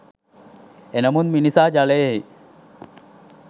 එනමුත් මිනිසා ජලයෙහි